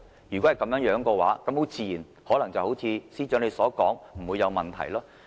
如果是這樣，那麼很自然地，可能會像司長所言般，不會有問題。